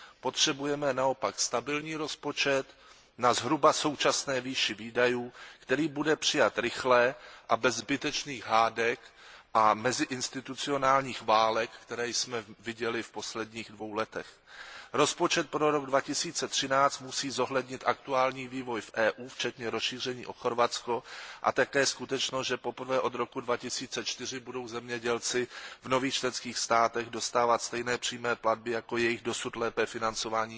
Potřebujeme naopak stabilní rozpočet na zhruba současné výši výdajů, který bude přijat rychle a bez zbytečných hádek a meziinstitucionálních válek, které jsme viděli v posledních dvou letech. Rozpočet na rok 2013 musí zohlednit aktuální vývoj v EU včetně rozšíření o Chorvatsko a také skutečnost, že poprvé od roku 2004 budou zemědělci v nových členských státech dostávat stejné přímé platby jako jejich dosud lépe financovaní